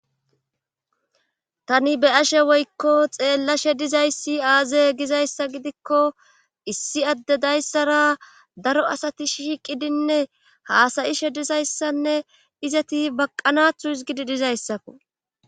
tani be' ashe woykko xeellashe dizayssi aaze gizayssa gidikko issi adde dayssara daro asati shiiqidinne haasayishe dizayssanne izati baqqanathu isgidi dizayssakko